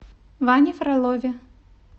ване фролове